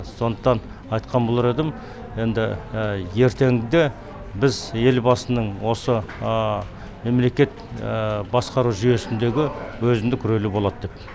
сондықтан айтқан болар едім енді ертеңгіде біз елбасының осы мемлекет басқару жүйесіндегі өзіндік рөлі болады деп